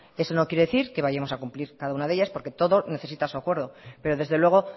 eso no quiere decir que vayamos a cumplir cada una de ellas porque todo necesita su acuerdo pero desde luego